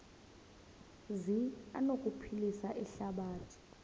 zi anokuphilisa ihlabathi